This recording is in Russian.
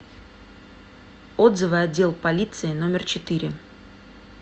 отзывы отдел полиции номер четыре